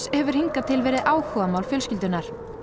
hefur hingað til verið áhugamál fjölskyldunnar og